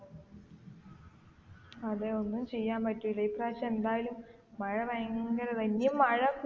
അതെ ഒന്നും ചെയാന് പറ്റൂല്ല ഈ പ്രാവിശ്യം എന്തായാലും മഴ ഭയങ്കര തന്നെയാ